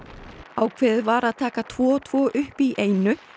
ákveðið var að taka tvo og tvo upp í einu